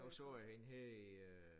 Nu så jeg hende her i øh